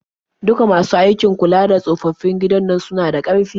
Duka masu aiki gidan kula da tsofaffin nan suna da kirki.